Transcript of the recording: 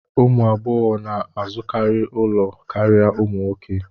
Ụmụ agbọghọ na-azụkarị ụlọ karịa ụmụ nwoke